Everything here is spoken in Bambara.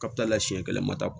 Kapitala la siɲɛ kelen ma ta